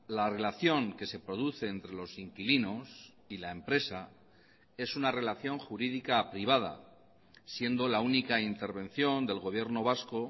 la relación que se produce entre los inquilinos y la empresa es una relación jurídica privada siendo la única intervención del gobierno vasco